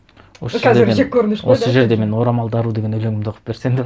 осы жерде мен осы жерде мен орамалды ару деген өлеңімді оқып берсем